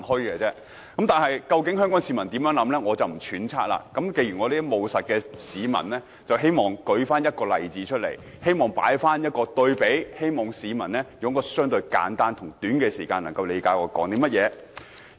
我不揣測究竟香港市民有甚麼想法，而我這種務實的人希望舉個例子來作簡單對比，讓市民在相對短暫時間內理解我在說甚麼。